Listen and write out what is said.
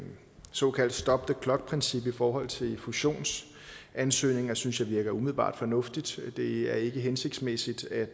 såkaldte stop the clock princip i forhold til fusionsansøgninger synes jeg virker umiddelbart fornuftigt det er ikke hensigtsmæssigt at